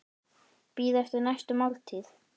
Bíða eftir næstu máltíð.